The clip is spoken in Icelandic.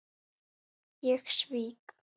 Ég svík